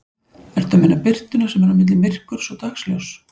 Ertu að meina birtuna sem er á milli myrkurs og dagsljóss?